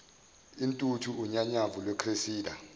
intuthu unyanyavu lwecressida